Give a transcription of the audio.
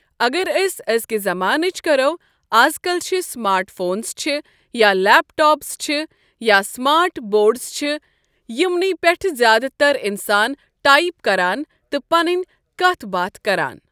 اگر أسۍ ازکہِ زمانٕچ کرو از کل چھِ سمارٹ فونز چھِ یا لیپ ٹاپٕز چھِ یا سمارٹ بوڑز چھِ یِمنے پٮ۪ٹھہٕ زیادٕ تر انسان ٹایپ کران تہٕ پنٕنۍ کتھہٕ باتھ کران ۔